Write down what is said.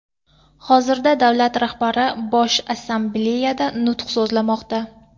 Hozirda davlat rahbari Bosh Assambleyada nutq so‘zlamoqda.